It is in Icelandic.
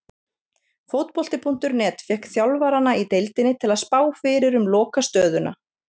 Fótbolti.net fékk þjálfarana í deildinni til að spá fyrir um lokastöðuna.